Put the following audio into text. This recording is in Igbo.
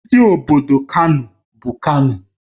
Isi obodo Kano bụ Kano